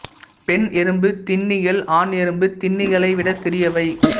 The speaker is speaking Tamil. பெண் எறும்பு தின்னிகள் ஆண் எறும்பு தின்னிகளை விட சிறியவை